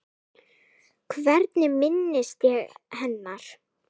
Hvernig minnist ég hennar?